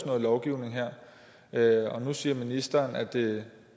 noget lovgivning her nu siger ministeren at det